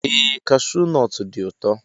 Ee kashuu nọt dị ụtọ.